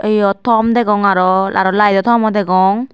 yot tom degong arow arow layeto tomo degong.